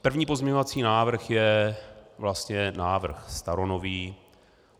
První pozměňovací návrh je vlastně návrh staronový.